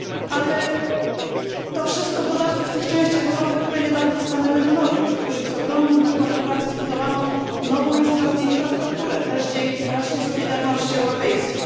Ale to wszystko wydarzyło się w dodatku w tych częściach Europy, które niedawno stanęły na nogi, w których z ogromnym nakładem pracy zbudowano nową infrastrukturę, też dzięki właśnie solidarności europejskiej.